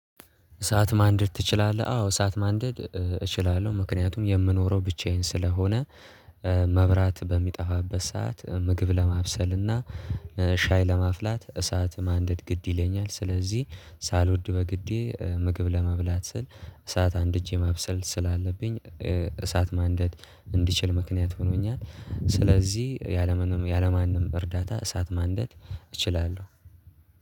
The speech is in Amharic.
እሳት ማንድድ ትችላለህ? አዎ ሰዓት ማንድድ እችላለሁ። ምክንያትም የምኖረው ብቻዬን ስለሆነ መብራት በሚጠፋበት ሰዓት ምግብ ለማብሰል እና ሻይ ለማፍላት እሳት ማንደድ ግድ ይለኛል። ስለዚህ ሳልወድ በግዴ ምግብ ለመብላት ስል እሳት አንድጄ ማብሰል ስላለብኝ እሳት ማንድድ እንድችል ምክንያት ሆኖኛል። ስለዚህ ያለምንም ያለማንም እርዳታ እሳት ማንድድ እችላለሁ።